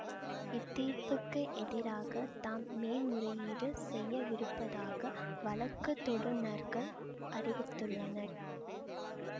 இத்தீர்ப்புக்கு எதிராக தாம் மேன்முறையீடு செய்யவிருப்பதாக வழக்கு தொடுநர்கள் அறிவித்துள்ளனர்